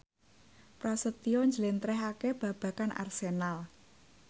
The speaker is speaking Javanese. Prasetyo njlentrehake babagan Arsenal